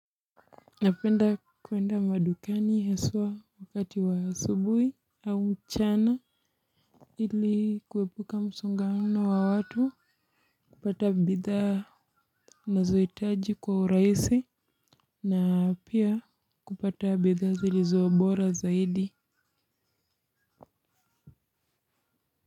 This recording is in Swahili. Napenda kuenda madukani haswa wakati wa asubuhi au mchana ili kuepuka msongamano wa watu kupata bidhaa ninazohitaji kwa urahisi na pia kupata bidhaa zilizo bora zaidi.